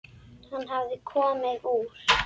Hann hafði komið úr